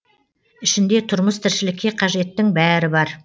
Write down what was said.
ішінде тұрмыс тіршілікке қажеттің бәрі бар